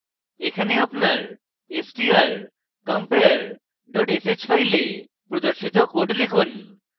এখন এখানে আপনার strcompare dot sh file প্রদর্শিত code লিখুন